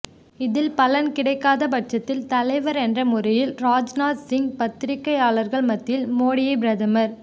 இதில் பலன் கிடைக்காத பட்சத்தில் தலைவர் என்ற முறையில் ராஜ்நாத்சிங் பத்திரிகையாளர் மத்தியில் மோடியை பிரதமர்